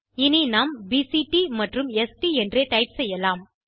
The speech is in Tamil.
இனி நாம் பிசிடி மற்றும் ஸ்ட் என்றே டைப் செய்யலாம்